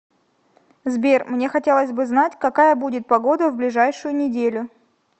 сбер мне хотелось бы знать какая будет погода в ближайшую неделю